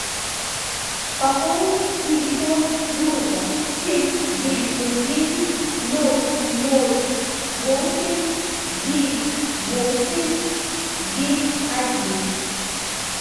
пополнить телефон друга семь девять ноль девять ноль ноль восемь девять восемь девять один